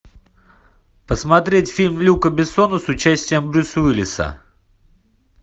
посмотреть фильм люка бессона с участием брюса уиллиса